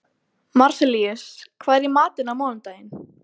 Marsellíus, hvað er í matinn á mánudaginn?